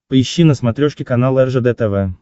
поищи на смотрешке канал ржд тв